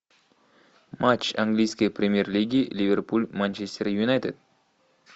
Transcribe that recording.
матч английской премьер лиги ливерпуль манчестер юнайтед